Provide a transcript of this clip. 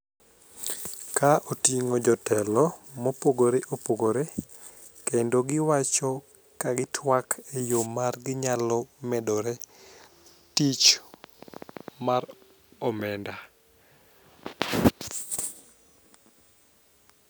Ka oting'o jotelo mopogore opogore kendo giwacho ka gitwak e yo mar ginyalo medore tich mar omenda.